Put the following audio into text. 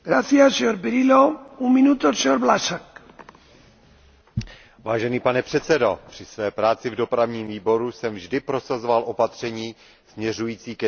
Pane předsedající, při své práci ve Výboru pro dopravu a cestovní ruch jsem vždy prosazoval opatření směřující ke zvýšení bezpečnosti, ke snížení počtu úmrtí a zranění na našich silnicích.